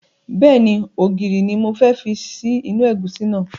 Bẹ́ẹ̀ni, ògìrì ni mo fẹ́ fi sí inú ẹ̀gúsí náà